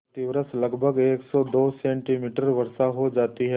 प्रतिवर्ष लगभग सेमी वर्षा हो जाती है